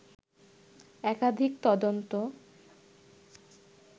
একাধিক তদন্ত